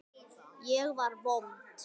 Ég var vond.